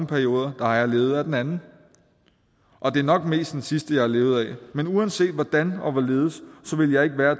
perioder har jeg levet af den anden og det er nok mest den sidste jeg har levet af men uanset hvordan og hvorledes ville jeg ikke være